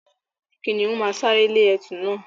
Kìnìún máa sáré lé ẹtù na.